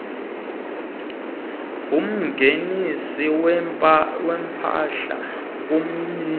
ngumngenisi wempahla ngumyili